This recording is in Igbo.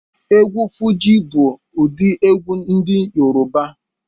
Egwu Fuji bu udi egwu ndi Yoruba